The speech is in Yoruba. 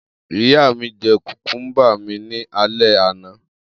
Iya mi jẹ kukumba mi ni alẹ ana.